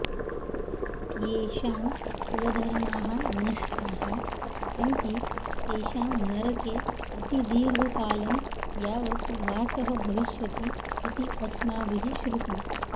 येषां कुलधर्माः नष्टाः सन्ति तेषां नरके अतिदीर्घकालं यावत् वासः भविष्यति इति अस्माभिः श्रुतम्